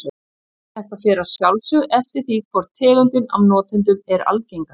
Þetta fer að sjálfsögðu eftir því hvor tegundin af notendunum er algengari.